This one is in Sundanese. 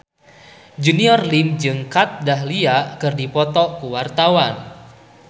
Junior Liem jeung Kat Dahlia keur dipoto ku wartawan